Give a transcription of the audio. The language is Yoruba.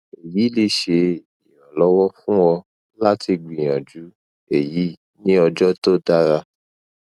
eyi le ṣe iranlọwọ fun ọ lati gbiyanju eyi ni ọjọ to dara